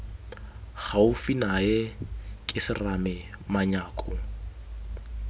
gaufi nae ke serame manyako